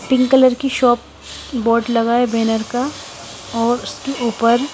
pink colour की shop board लगा है बैनर का और उसके ऊपर--